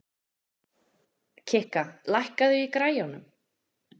Kikka, lækkaðu í græjunum.